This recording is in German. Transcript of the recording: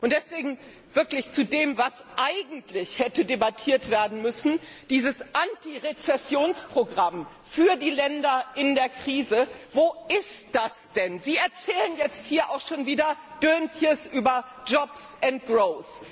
Und deswegen wirklich zu dem, was eigentlich hätte debattiert werden müssen Dieses Antirezessionsprogramm für die Länder in der Krise, wo ist das denn? Sie erzählen jetzt hier auch schon wieder Anekdoten über jobs and growth